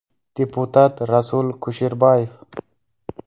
Deputat Rasul Kusherbayev.